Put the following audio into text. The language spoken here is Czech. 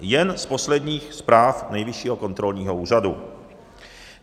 Jen z posledních zpráv Nejvyššího kontrolního úřadu.